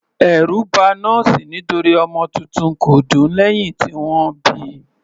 Ẹ̀rù ba nọ́ọ̀sì nítorí ọmọ titun kò dún lẹ́hìn tí wọ́n bíi.